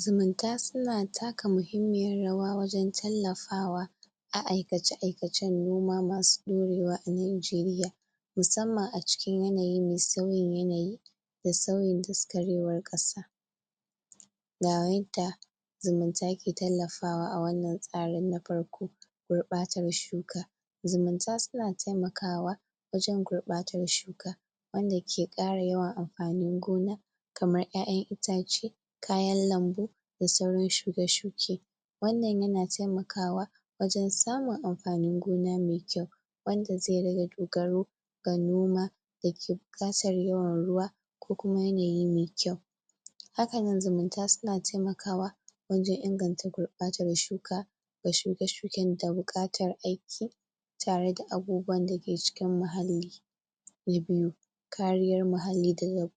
zumunta suna kata muhimmiyar rawa wajen tallafawa a aikace aikacen noma masu ɗorewa a najeriya musamman a cikin yanayi mai sauyin yanayi da suyin daskarewar ƙasa ga yadda zumunta ke tallafawa a wannan tsarin na farko. gurɓatar shuka, zumunta suna taimakawa wajen gurɓatar shuka wanda ke ƙara yawan amfanin gona kaman ƴaƴan itace, kayan lambu da sauran shuke-shuke wannan yana taimakawa wajen samun amfanin gona mai kyau wanda zai rage dogaro ga noma da ke buƙatar yawan ruwa ko kuma yanayi mai kyau hakanan zumunta suna taimakawa wajen inganta gurɓatar shuka ga shuke-shuken da buƙatar aiki tareda abubuwan dake cikin muhalli. Na biyu kariyar muhalli daga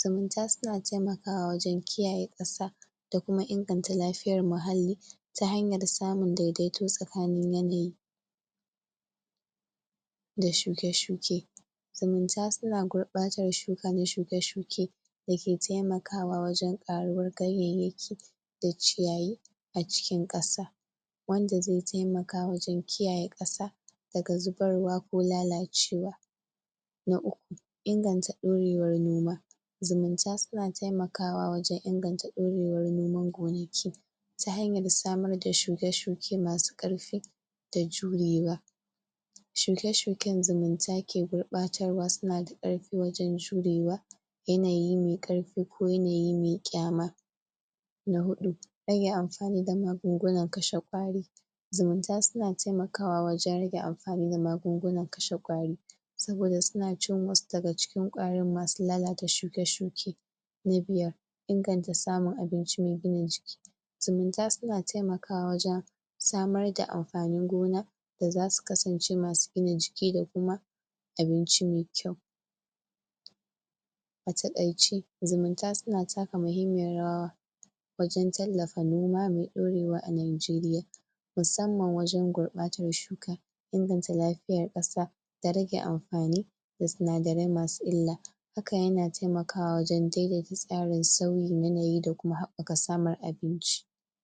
zumunta suna taimakawa wajen kiyaye ƙasa da kuma inganta lafiyar muhalli ta hanyar samun daidaito tsakanin yanayi da shuke-shuke. zumunta suna gurɓatar shuka da shuke-shuke da ke taimakawa wajen ƙaruwar ganyayyaki da ciyayi a cikin ƙasa wanda zai taimaka wajen kiyaye ƙasa daga zubarwa ko lalacewa na uku inganta ɗorewar noma, zumunta suna taimakawa wajen inganta ɗorewar noman gonaki ta hanyar samar da shuke-shuke masu ƙarfi da jurewa shuke-shuken zumunta ke gurbatarwa suna da ƙarfi wajen jurewa yanayi mai ƙarfi ko yanayi mai ƙyama na huɗu rage amfani da magungunan kashe ƙwari, zumunta suna taimakawa wajen rage amfani da magungunan kashe ƙwari saboda suna cin wasu daga cikin ƙwarin masu lalata shuke-shuke. na biyar inganta samun abinci mai gina jiki zumunta suna taimakawa wajen samar da amfanin gona da zasu kasance masu gina jiki da kuma abinci mai kyau. a taƙaice zumunta suna taka muhimmiyar rawa wajen tallafa noma mai ɗorewa a najeriyamusamman wajen gurɓatar shuka inganta lafiyar ƙasa da rage amfani da sinadarai masu illa haka yana taimakawa wajen daidaita tsarin sauyin yanayi da kuma haɓɓaka samun abinci